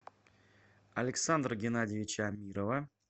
александра геннадьевича амирова